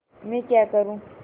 मैं क्या करूँगी